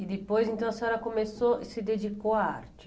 E depois, então, a senhora começou e se dedicou à arte?